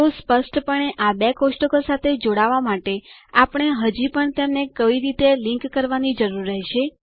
તો સ્પષ્ટપણે આ બે કોષ્ટકો સાથે જોડાવા માટે આપણે હજી પણ તેમને કોઈ રીતે લિંક કરવાની જરૂર રહેશે